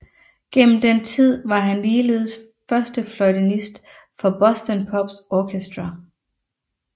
Gennem den tid var han ligeledes førstefløjtenist for Boston Pops Orchestra